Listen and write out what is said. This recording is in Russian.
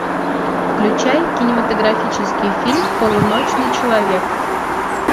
включай кинематографический фильм полуночный человек